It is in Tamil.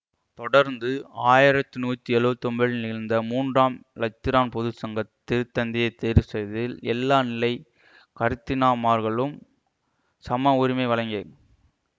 தொடர்ந்து ஆயிரத்தி நூற்றி எழுவத் ஒன்பதில் நிகழ்ந்த மூன்றாம் இலத்திரான் பொது சங்கம் திரு தந்தையை தேர்வுசெய்தில் எல்லா நிலை கருத்தினாமார்களும் சம உரிமை வழங்கிய